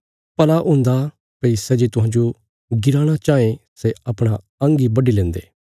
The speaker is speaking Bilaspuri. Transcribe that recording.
भला हुन्दा भई सै जे तुहांजो गिराणा चाँये सै अपणा अंग इ बड्डी लेन्दे